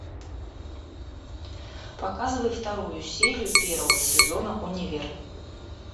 показывай вторую серию первого сезона универ